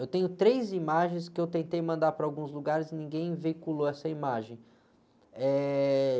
Eu tenho três imagens que eu tentei mandar para alguns lugares e ninguém veiculou essa imagem.